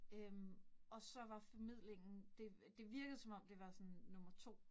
Øh og så var formidlingen, det det virkede som om det var sådan nummer 2